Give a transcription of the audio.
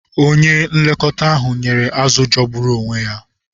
Onye nlekọta ahụ nyere azụ̀ jọgburu onwe ya.